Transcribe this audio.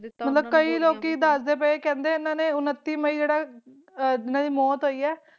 ਅਰਾਮ ਨਾਲ ਖਾ ਸਕਦੇ ਹੈ ਯੂਨਿਟੀ ਮਈ ਦੋ ਹਾਜਰ ਬਾਈਕਈ ਲੋਕੀ ਦਸਦੇ ਪਾਈ ਹੈ ਕਿ ਯੂਨਿਟੀ ਮਈ ਦੋ ਹਾਜਰ ਬਾਈ ਹਨ ਦੇ ਮੌਤ ਹੋਈ ਹਾਂ